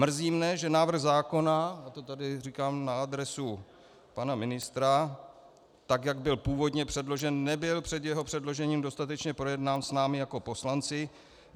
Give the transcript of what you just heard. Mrzí mě, že návrh zákona, a to tady říkám na adresu pana ministra, tak jak byl původně předložen, nebyl před jeho předložením dostatečně projednán s námi jako poslanci.